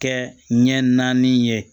Kɛ ɲɛ naani ye